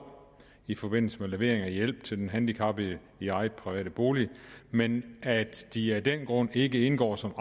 i forbindelse med levering af hjælp til den handicappede i egen privat bolig men at de af den grund ikke indgår som